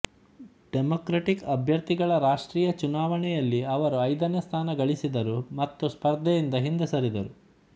democratic ಅಭ್ಯರ್ಥಿಗಳ ರಾಷ್ಟ್ರೀಯ ಚುನಾವಣೆಯಲ್ಲಿ ಅವರು ಐದನೇ ಸ್ಥಾನ ಗಳಿಸಿದರು ಮತ್ತು ಸ್ಪರ್ಧೆಯಿಂದ ಹಿಂದೆ ಸರಿದರು